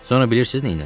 Sonra bilirsiz neylədi?